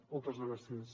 moltes gràcies